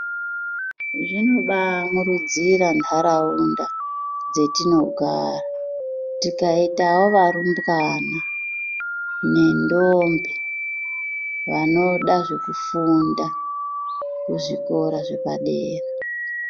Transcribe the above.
Zvinobaamurudzira ntaraunda dzatinogara tikaitawo varumbwana nendombi vanoda zvekufunda kuzvikora zvepadera.